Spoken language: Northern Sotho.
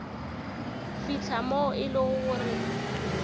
fihla moo e lego gore